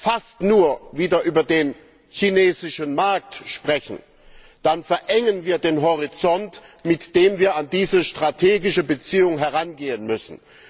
fast nur wieder über den chinesischen Markt sprechen, dann verengen wir den Horizont, mit dem wir an diese strategische Beziehung herangehen müssen.